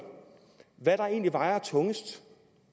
hvad der egentlig vejer tungest